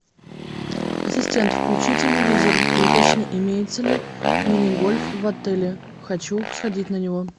ассистент включи телевизор и уточни имеется ли мини гольф в отеле хочу сходить на него